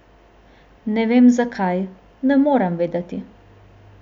Ne vem zakaj, ne morem vedeti.